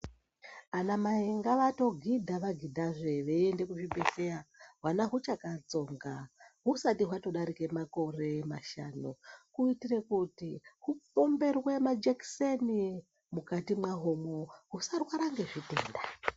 Anamai ngavatogidha vagidhazve veiende kuzvibhedhleya hwana huchakatsonga husati hwatodarike makore mashanu. Kuitire kuti hupemberwe majekiseni mukati mahomo husarwara ngezvitenda.